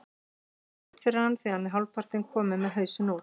Það er erfitt fyrir hann því hann var hálfpartinn kominn með hausinn út.